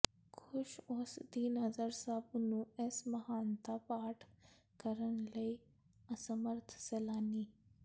ਖ਼ੁਸ਼ ਉਸ ਦੀ ਨਜ਼ਰ ਸਭ ਨੂੰ ਇਸ ਮਹਾਨਤਾ ਪਾਟ ਕਰਨ ਲਈ ਅਸਮਰੱਥ ਸੈਲਾਨੀ